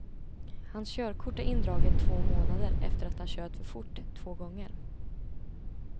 Hans körkort är indraget två månader efter att han kört för fort två gånger.